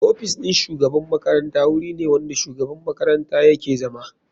Ofisin shugaban makaranta wuri ne wanda shugaban makaranta yake zama.